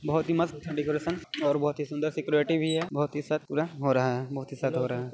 बहोत ही मस्त डेकरैशन और बहोत ही सुंदर सिक्युरिटी भी है बहोत ही सख्त पूरा हो रहा है बहोत ही सख्त हो रहा है।